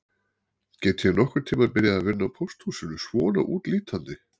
Get ég nokkurn tíma byrjað að vinna á pósthúsinu svona útlítandi